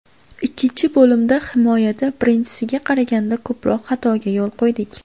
Ikkinchi bo‘limda himoyada birinchisiga qaraganda ko‘proq xatoga yo‘l qo‘ydik.